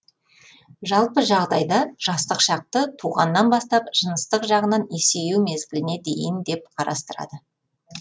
жалпы жағдайда жастық шақты туғаннан бастап жыныстық жағынан есею мезгіліне дейін деп қарастырады